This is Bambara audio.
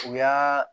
U y'aa